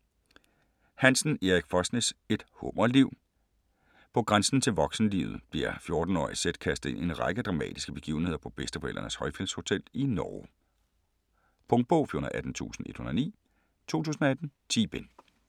Hansen, Erik Fosnes: Et hummerliv På grænsen til voksenlivet bliver 14-årige Sedd kastet ind i en række dramatiske begivenheder på bedsteforældrenes højfjeldshotel i Norge. Punktbog 418109 2018. 10 bind.